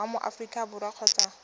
wa mo aforika borwa kgotsa